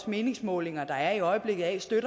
meningsmålinger der er i øjeblikket af